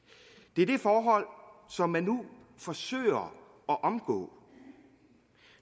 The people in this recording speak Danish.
det er det forhold som man nu forsøger at omgå